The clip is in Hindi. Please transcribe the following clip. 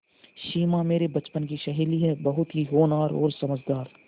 सिमा मेरे बचपन की सहेली है बहुत ही होनहार और समझदार